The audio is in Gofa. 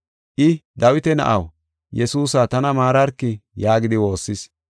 I, “Dawita na7aw, Yesuusa, tana maararki” yaagidi waassis.